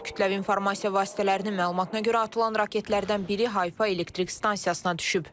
Kütləvi informasiya vasitələrinin məlumatına görə atılan raketlərdən biri Hayfa elektrik stansiyasına düşüb.